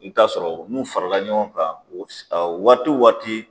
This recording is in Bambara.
I bɛ t'a sɔrɔ n'u farala ɲɔgɔnkan waati o waati.